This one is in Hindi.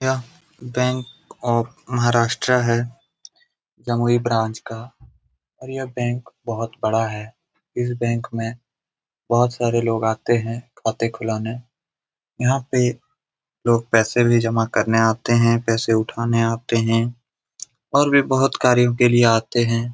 यह बैंक ऑफ़ महाराष्ट्र है गंगगोई ब्रांच का और यह बैंक बहुत बड़ा है इस बैंक में बहुत सारे लोग आते हैं खाते खुलाने यह पे लोग पैसे भी जमा करने आते हैं पैसे उठाने आते हैं और भी बहुत कार्यों के लिए आते हैं।